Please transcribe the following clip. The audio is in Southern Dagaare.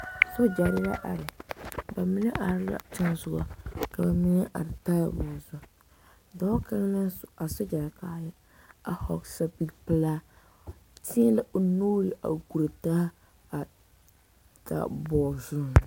Sogyare la are ba mine are la teŋa soɔba mine are taaboore zu dɔɔ kaŋ naŋ su a sogyare kaayɛ a vɔgele zapili pelaa teɛ la o nuure a kuri daa a taaboɔ